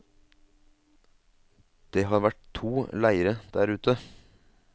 Det har vært to leire der ute.